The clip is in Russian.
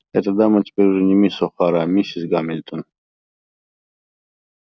эта дама теперь уже не мисс охара а миссис гамильтон